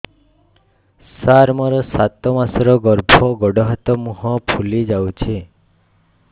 ସାର ମୋର ସାତ ମାସର ଗର୍ଭ ଗୋଡ଼ ହାତ ମୁହଁ ଫୁଲି ଯାଉଛି